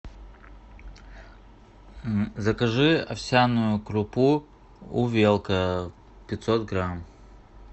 закажи овсяную крупу увелка пятьсот грамм